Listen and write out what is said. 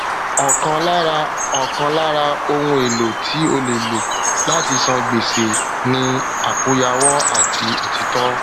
ọkan lára ọkan lára ohun èlò tí o le lo lati san gbèsè ni àkóyawọ àti òtítọ